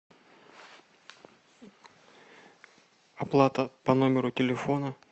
оплата по номеру телефона